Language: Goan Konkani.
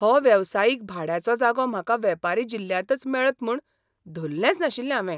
हो वेवसायीक भाड्याचो जागो म्हाका वेपारी जिल्ल्यांतच मेळत म्हूण धल्लेंच नाशिल्लें हावें.